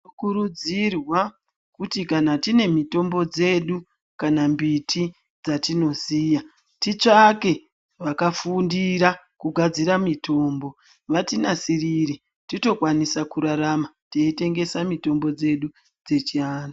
Tinokurudzirwa kuti kana tine mitombo dzedu dzatinoziya titsvake vakafundira kugadzira mitombo, vatinasirire tikwanise kurarama teikwanisa kutengesa mitombo dzechiantu.